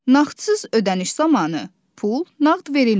Nağdsız ödəniş zamanı pul nağd verilmir.